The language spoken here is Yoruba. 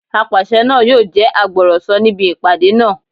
Apàṣẹ náà yóò jẹ́ agbọ̀rọ̀sọ níbi ìpàdé náà